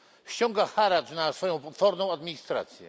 Ściąga haracz na swoją potworną administrację.